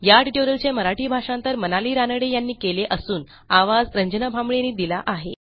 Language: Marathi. या ट्युटोरियलचे मराठी भाषांतर मनाली रानडे यांनी केले असून आवाज यांनी दिला आहे